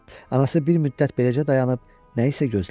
Anası bir müddət beləcə dayanıb nə isə gözlədi.